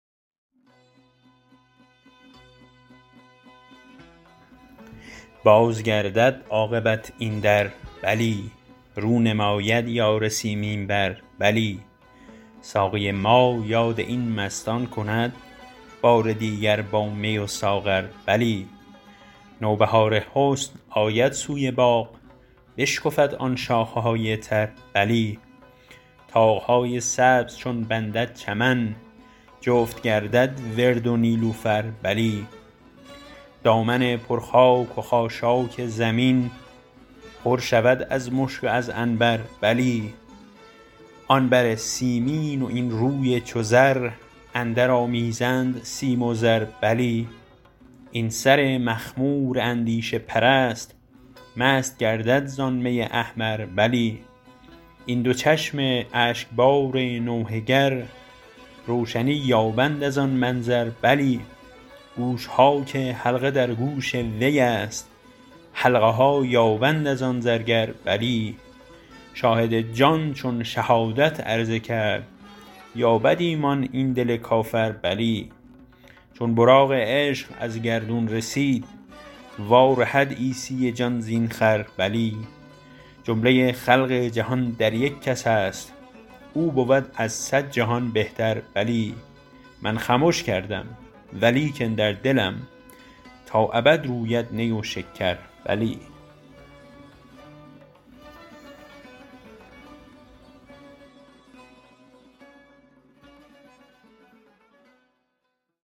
باز گردد عاقبت این در بلی رو نماید یار سیمین بر بلی ساقی ما یاد این مستان کند بار دیگر با می و ساغر بلی نوبهار حسن آید سوی باغ بشکفد آن شاخه های تر بلی طاق های سبز چون بندد چمن جفت گردد ورد و نیلوفر بلی دامن پر خاک و خاشاک زمین پر شود از مشک و از عنبر بلی آن بر سیمین و این روی چو زر اندرآمیزند سیم و زر بلی این سر مخمور اندیشه پرست مست گردد زان می احمر بلی این دو چشم اشکبار نوحه گر روشنی یابد از آن منظر بلی گوش ها که حلقه در گوش وی است حلقه ها یابند از آن زرگر بلی شاهد جان چون شهادت عرضه کرد یابد ایمان این دل کافر بلی چون براق عشق از گردون رسید وارهد عیسی جان زین خر بلی جمله خلق جهان در یک کس است او بود از صد جهان بهتر بلی من خمش کردم و لیکن در دلم تا ابد روید نی و شکر بلی